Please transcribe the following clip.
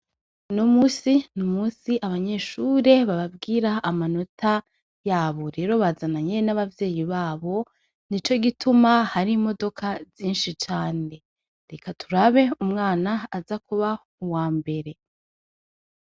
Uno munsi n'umusi abanyeshure babwira amanota yabo, rero bazananye n'abavyeyi babo nicogituma hari imodoka nyishi cane reka turabe umwana aza kuba uwambere.